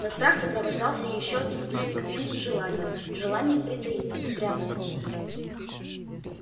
но страх сопровождался ещё одним инстинктивным желанием желанием притаиться спрятаться